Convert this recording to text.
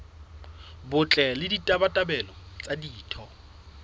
botle le ditabatabelo tsa ditho